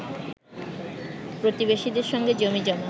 প্রতিবেশীদের সঙ্গে জমিজমা